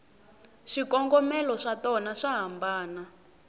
swikongomelo swatona swa hambana